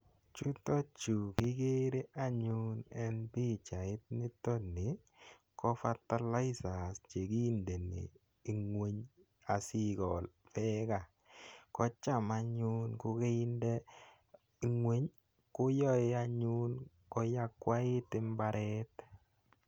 Chutachu kikere anyun eng' pichait nitoni ko fertilizer che kindeni ng'weny asiikol peeka. Ko cham anyun ko kainde ng'weny koyae anyun koyakwait imbaret.